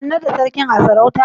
An naɗa Sarkin a sarauta?